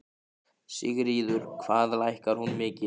Sigríður: Hvað lækkar hún mikið?